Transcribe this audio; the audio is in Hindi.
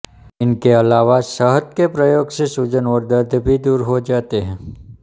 इनके अलावा शहद के प्रयोग से सूजन और दर्द भी दूर हो जाते हैं